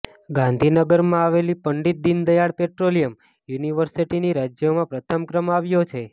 ગાંધીનગરમાં આવેલી પંડિત દિનદયાળ પેટ્રોલિયમ યુનિવર્સિટીનો રાજ્યમાં પ્રથમ ક્રમ આવ્યો છે